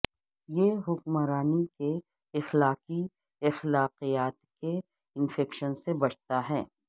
یہ حکمرانی کے اخلاقی اخلاقیات کے انفیکشن سے بچتا ہے